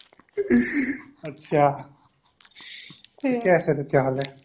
আচ্ছা ঠিকে আছে